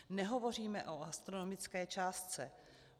Nehovoříme o astronomické částce.